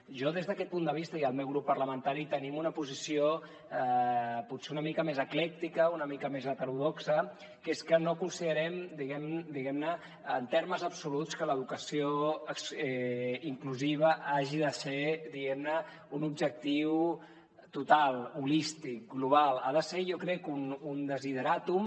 jo des d’aquest punt de vista i el meu grup parlamentari tenim una posició potser una mica més eclèctica una mica més heterodoxa que és que no considerem diguem ne en termes absoluts que l’educació inclusiva hagi de ser un objectiu total holístic global ha de ser jo crec un desideràtum